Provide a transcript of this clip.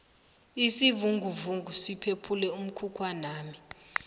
isivinguvungu siphephule umkhukhwanami